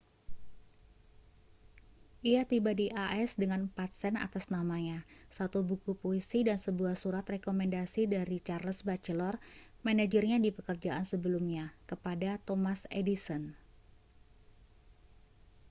ia tiba di as dengan 4 sen atas namanya satu buku puisi dan sebuah surat rekomendasi dari charles batchelor manajernya di pekerjaan sebelumnya kepada thomas edison